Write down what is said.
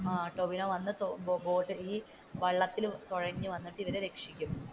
ടോവിനോ വന്നു വള്ളത്തിൽ തുഴഞ്ഞു വന്നു ഇവരെ രക്ഷിക്കും.